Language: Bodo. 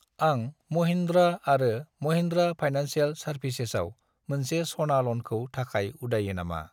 आं महिन्द्रा आरो महिन्द्रा फाइनान्सियेल सार्भिसेसाव मोनसे सना ल'नखौ थाखाय उदायो नामा?